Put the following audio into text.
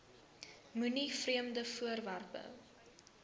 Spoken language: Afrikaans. moenie vreemde voorwerpe